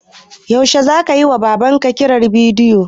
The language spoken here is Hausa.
Yaushe zaka yiwa Babar ka kira na bidiyo?